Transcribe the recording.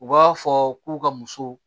U b'a fɔ k'u ka muso